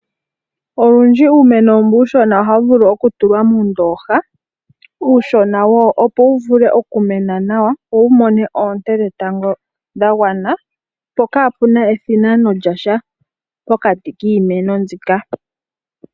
Olundji uumeno mbu uushona ohawu vulu okutulwa muundoha uushona opo wu vule okumena nawa wo wumone oonte dhetango dhagwana po kapuna ethinano lyasha pokati kiimeno mbika.